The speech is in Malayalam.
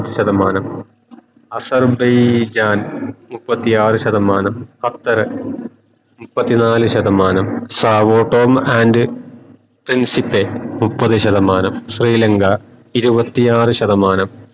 അസൈബൈജാൻ മുപ്പത്തിയാർ ശതമാനം ഖത്തർ മുപ്പത്തിനാല് ശതമാനം മുപ്പത് ശതമാനം ശ്രീലങ്ക ഇരുവതിയാർ ശതമാനം